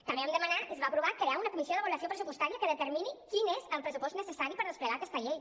també vam demanar i es va aprovar crear una comissió d’avaluació pressupostària que determini quin és el pressupost necessari per desplegar aquesta llei